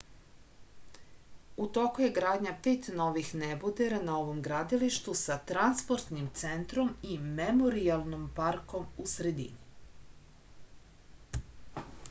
u toku je gradnja pet novih nebodera na ovom gradilištu sa transportnim centrom i memorijalnim parkom u sredini